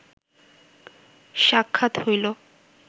সাক্ষাৎ হইল